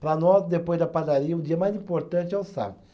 Para nós, depois da padaria, o dia mais importante é o sábado.